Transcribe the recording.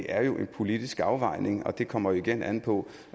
er en politisk afvejning og det kommer jo igen an på